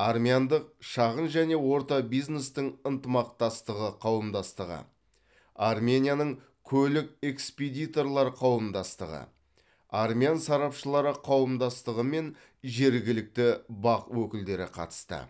армяндық шағын және орта бизнестің ынтымақтастығы қауымдастығы арменияның көлік экспедиторлары қауымдастығы армян сарапшылары қауымдастығы мен жергілікті бақ өкілдері қатысты